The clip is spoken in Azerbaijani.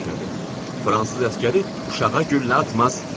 Fransız əsgəri uşağa güllə atmaz.